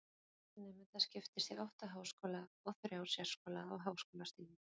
þessi fjöldi nemenda skiptist á átta háskóla og þrjá sérskóla á háskólastigi